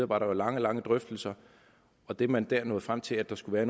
var der jo lange lange drøftelser og det man dér nåede frem til at der skulle være